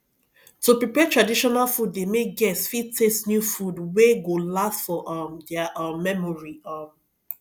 to prepare traditional food de make guest fit taste new foods wey go last for um their um memory um